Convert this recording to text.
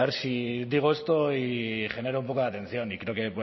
si digo esto y genero un poco de atención y creo que